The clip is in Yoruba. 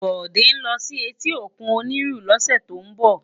Bode n lò si éti ókún Oniru lòsè tó n bò